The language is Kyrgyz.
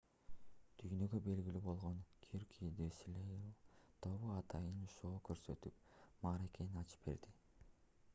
дүйнөгө белгилүү болгон cirque du soleil тобу атайын шоу көрсөтүп мааракени ачып берди